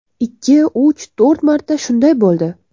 Ikki, uch, to‘rt marta shunday bo‘ldi.